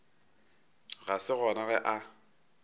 ga se gona ge a